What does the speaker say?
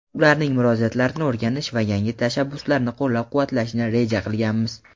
ularning murojaatlarini o‘rganish va yangi tashabbuslarni qo‘llab-quvvatlashni reja qilganmiz.